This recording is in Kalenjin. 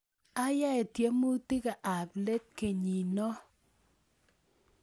Ayae tiemutikab let kenyino